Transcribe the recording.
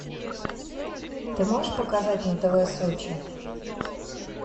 ты можешь показать на тв сочи